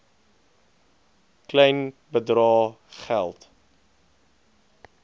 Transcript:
klein bedrae geld